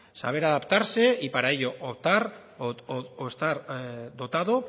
saber adaptarse y para ello dotar o estar dotado